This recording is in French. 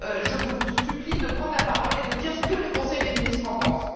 Je vous supplie de prendre la parole et de dire ce que le Conseil des ministres en pense.